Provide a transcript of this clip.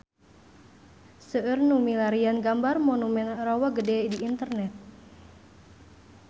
Seueur nu milarian gambar Monumen Rawa Gede di internet